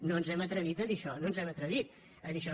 no ens hem atrevit a dir això no ens hem atrevit a dir això